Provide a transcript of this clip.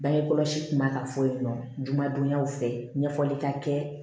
Bange kɔlɔsi tun b'a ka fɔ yen nɔ jumadonyaw fɛ ɲɛfɔli ka kɛ